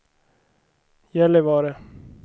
Gällivare